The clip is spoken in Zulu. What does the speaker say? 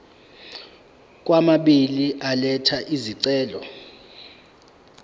kwababili elatha isicelo